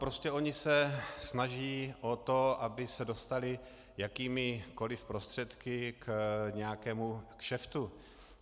Prostě oni se snaží o to, aby se dostali jakýmikoli prostředky k nějakému kšeftu.